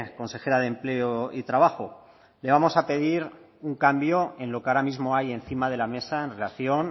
consejera de empleo y trabajo le vamos a pedir un cambio en lo que ahora mismo hay encima de la mesa en relación